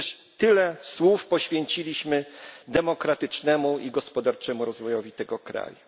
A przecież tyle słów poświęciliśmy demokratycznemu i gospodarczemu rozwojowi tego kraju.